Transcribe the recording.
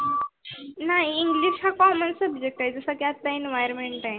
नाही english हा common subject आहे जस की आता Environment